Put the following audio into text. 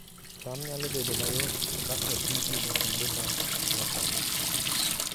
cham nyalo bedo mayot ka oti gi masinde ma nyasani